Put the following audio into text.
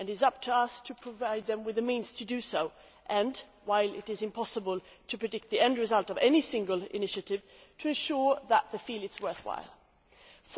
It is up to us to provide them with the means to do so, and while it is impossible to predict the end result of any single initiative to ensure that they feel it is worth their while.